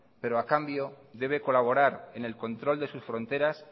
pero a cambio debe colaborar en el control de sus fronteras